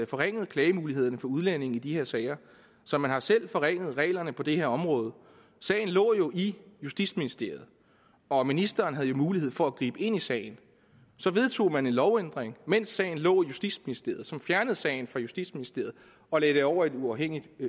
forringet klagemulighederne for udlændinge i de her sager så man har selv forringet reglerne på det her område sagen lå jo i justitsministeriet og ministeren havde mulighed for at gribe ind i sagen så vedtog man en lovændring mens sagen lå i justitsministeriet som fjernede sagen fra justitsministeriet og lagde den over i et uafhængigt